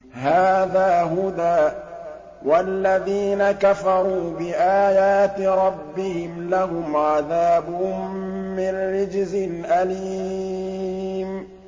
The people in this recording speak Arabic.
هَٰذَا هُدًى ۖ وَالَّذِينَ كَفَرُوا بِآيَاتِ رَبِّهِمْ لَهُمْ عَذَابٌ مِّن رِّجْزٍ أَلِيمٌ